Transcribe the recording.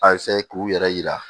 A k'u yɛrɛ yira